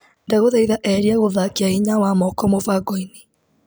Ndagũthaitha eheria gũthakia hinya wa moko mũbango-inĩ .